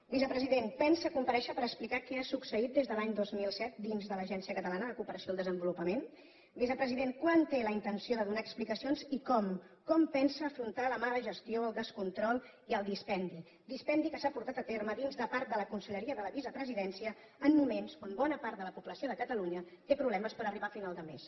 vicepresident pensa comparèixer per explicar què ha succeït des de l’any dos mil set dins de l’agència catalana de cooperació al desenvolupament vicepresident quan té la intenció de donar explicacions i com com pensa afrontar la mala gestió el descontrol i el dispendi dispendi que s’ha portat a terme dins de part de la conselleria de la vicepresidència en moments on bona part de la població de catalunya té problemes per arribar a final de mes